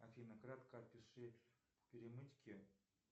афина кратко опиши перемычки